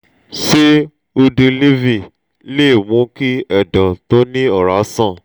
ṣé udiliv lè mú kí ẹdọ̀ tó ní ọrá sàn?